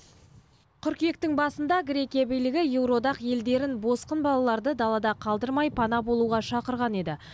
қыркүйектің басында грекия билігі еуроодақ елдерін босқын балаларды далада қалдырмай пана болуға шақырған еді